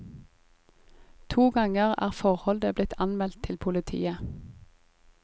To ganger er forholdet blitt anmeldt til politiet.